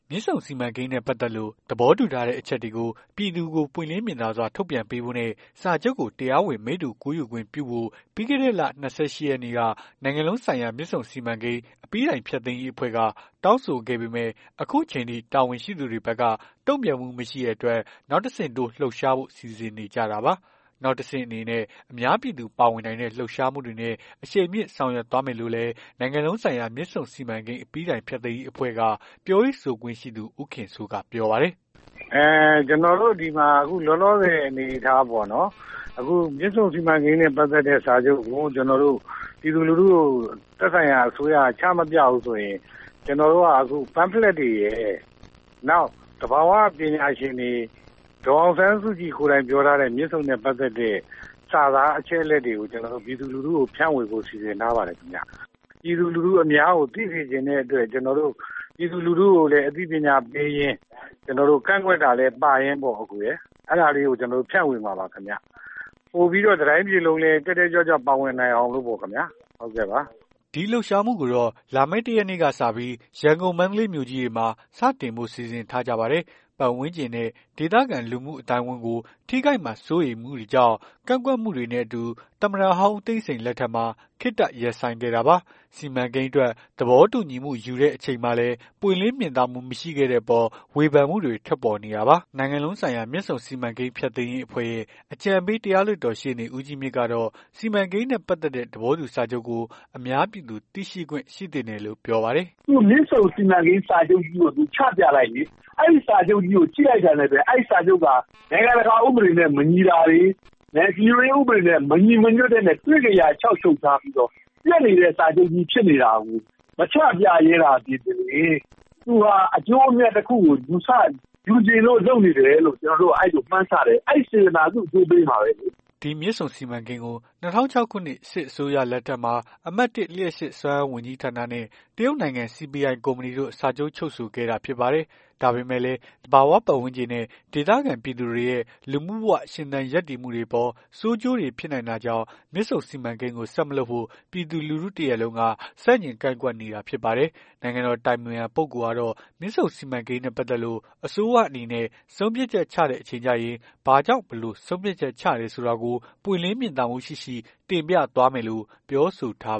မြစ်ဆုံစီမံကိန်းနဲ့ ပတ်သက်လို့ သဘောတူထားတဲ့ အချက်တွေကို ပြည်သူကို ပွင့်လင်းမြင်သာစွာ ထုတ်ပြန်ပေးဖို့နဲ့ စာချုပ်ကို တရားဝင် မိတ္တူကူးယူခွင့်ပြုဖို့ ပြီးခဲ့တဲ့လ ၂၈ ရက်နေ့က နိုင်ငံလုံးဆိုင်ရာ မြစ်ဆုံစီမံကိန်း အပြီးတိုင်းဖျက်သိမ်းရေး အဖွဲ့က တောင်းဆိုခဲ့ပေမယ့် အခုချိန်အထိ တာဝန်ရှိသူတွေဘက်က တုံ့ပြန်မှုမရှိတဲ့အတွက် နောက်တဆင့်တိုး လှုပ်ရှားဖို့ စီစဉ်နေကြတာပါ။ နောက်တဆင့်အနေနဲ့ အများပြည်သူ ပါဝင်နိုင်တဲ့ လှုပ်ရှားမှုတွေနဲ့ အရှိန်မြှင့်ဆောင်ရွက်သွားမယ်လို့လည်း နိုင်ငံလုံးဆိုင်ရာ မြစ်ဆုံစီမံကိန်း အပြီးတိုင်ဖျက်သိမ်းရေးအဖွဲ့က ပြောရေး ဆိုခွင့်ရှိသူ ဦးခင်စိုးက ပြောပါတယ်။ "ကျွန်တော်တို့ဒီမှာ လောလောဆယ်အနေအထားပေါ့နော်။ အခုမြစ်ဆုံစီမံကိန်းနဲ့ ပတ်သက်တဲ့စာချုပ်ကို ပြည်သူလူထုကို သက်ဆိုင်ရာအစိုးရက ချမပြဘူးဆိုရင် ကျွန်တော်တို့က pamphlet တွေရယ် နောက် သဘာ၀ ပညာရှင်တွေ ဒေါ်အောင်ဆန်းစုကြည်ကိုယ်တိုင် ပြောထားတဲ့ မြစ်ဆုံနဲ့ ပတ်သက်တဲ့ စာသားအချက်အလက် တွေကို ပြည်သူလူထုကို ဖြန့်ဝေဖို့ စီစဉ်ထားပါတယ်ခင်ဗျ။ ပြည်သူလူထုအများကို သိစေချင်တဲ့အတွက် ကျွန်တော်တို့ ပြည်သူလူထုကို အသိပညာပေးရင်း ကန့်ကွက်တာလည်း ပါရင်းပေါ့ အကိုရယ်။ အဲ့ဒါလေးကို ဖြန့်ဝေမှာပါခင်ဗျ။ ပိုပြီးတော့လည်း တတိုင်းပြည်လုံး တက်တက်ကြွကြွ ပါဝင်နိုင်အောင်ပေါ့ခင်ဗျာ။" ဒီလှုပ်ရှားမှုကိုတော့ လာမယ့် ၁ ရက်နေ့ကနေစပြီး ရန်ကုန်မန္တလေး မြို့ကြီးတွေမှာ စတင်ဖို့စီစဉ်ထားကြပါတယ်။ ပတ်ဝန်းကျင်နဲ့ ဒေသခံလူမှုအသိုင်းအဝန်းကို ထိခိုက်မှာ စိုးရိမ်မှုတွေကြောင့် ကန့်ကွက်မှုတွေနဲ့အတူ သမ္မတဟောင်း ဦးသိန်းစိန်လက်ထက်မှာ ခေတ္တရပ်ဆိုင်းခဲ့တာပါ။ စီမံကိန်းအတွက် သဘောတူညီမှု ယူခဲ့ချိန်မှာလည်း ပွင့်လင်းမြင်သာမှု မရှိခဲ့တဲ့အပေါ် ဝေဖန်မှုတွေ ထွက်ပေါ်နေတာပါ။ နိုင်ငံလုံးဆိုင်ရာ မြစ်ဆုံစီမံကိန်း ဖျက်သိမ်းရေး အဖွဲ့ရဲ့ အကြံပေး တရားလွှတ်တော် ရှေ့နေ ဦးကြီးမြင့်ကတော့ စီမံကိန်းနဲ့ ပတ်သက်တဲ့ သဘောတူစာချုပ်ကို အများပြည်သူ သိရှိခွင့်ရှိသင့်တယ်လို့ ပြောပါတယ်။ "မြစ်ဆုံစီမံကိန်းစာချုပ်ကြီးကို ချပြလိုက်လေ။ အဲ့စာချုပ်ကြီးကို ကြည့်လိုက်တာနဲ့ အဲ့စာချုပ်က နိုင်ငံတကာ ဥပဒေနဲ့ မညီတာတွေ ဒီလိုဥပဒေတွေနဲ့ မညီဘဲ တွေ့ကရာလျှောက်ချုပ်ထားပြီးတော့ ပျက်နေတဲ့ စာချုပ်ကြီး ဖြစ်နေတာကို မချပြရဲသာသည်ပင်လျှင် သူဟာ အကျိုးအမြတ်တခုကို ယူချင်လို့ လုပ်နေတယ်လို့ မှန်းဆတယ်။ အဲ့စေတနာ သူ့အကျိုးပေးမှာပဲလေ။" ဒီမြစ်ဆုံစီမံကိန်းကို ၂၀၀၆ ခုနှစ် စစ်အစိုးရလက်ထက်မှာ အမှတ် ၁ လျှပ်စစ် စွမ်းအားဝန်ကြီးဌာနနဲ့ တရုတ်နိုင်ငံ CPI ကုမ္ပဏီတို့ စာချုပ် ချုပ်ဆိုခဲ့တာဖြစ်ပါတယ်။ ဒါပေမယ့်လည်း သဘာဝပတ်ဝန်းကျင်နဲ့ ဒေသခံပြည်သူတွေရဲ့ လူမှုဘဝရှင်သန် ရပ်တည်မှုတွေအပေါ် ဆိုးကျိုးတွေဖြစ်နိုင်တာကြောင့် မြစ်ဆုံစီမံကိန်းကို ဆက်မလုပ်ဖို့ ပြည်သူ လူထု တရပ်လုံးက ဆန့်ကျင် ကန့်ကွက်နေတာဖြစ်ပါတယ်။ နိုင်ငံတော် အတိုင်ပင်ခံပုဂ္ဂိုလ်ကတော့ မြစ်ဆုံစီမံကိန်းနဲ့ ပတ်သက်လို့ အစိုးရအနေနဲ့ ဆုံးဖြတ်ချက် ချတဲ့အချိန် ကျရင် ဘာကြောင့် ဘယ်လိုဆုံးဖြတ်ချက် ချတယ်ဆိုတာကို ပွင့်လင်းမြင်သာမှုရှိရှိ တင်ပြသွားမယ်လို့ ပြောဆို ထား